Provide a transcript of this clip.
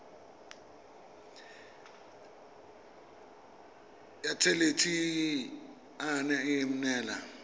ya thelebi ene e neela